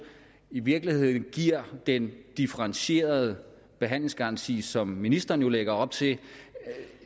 i virkeligheden giver den differentierede behandlingsgaranti som ministeren jo lægger op til